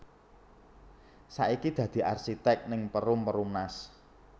Saiki dadi arsitek ning Perum Perumnas